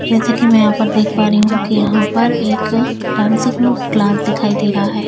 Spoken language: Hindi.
जैसे कि मैं यहां पर देख पा रही हूं कि यहां पर एक डांसिंग क्लास दिखाई दे रहा है।